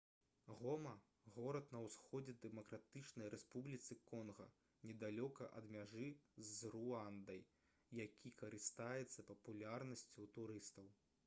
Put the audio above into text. гома горад на ўсходзе дэмакратычнай рэспубліцы конга недалёка ад мяжы з руандай які карыстаецца папулярнасцю ў турыстаў